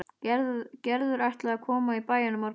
Gerður ætlaði að koma í bæinn á morgun.